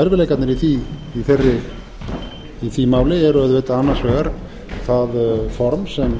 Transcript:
erfiðleikarnir í því máli er auðvitað annars vegar það form sem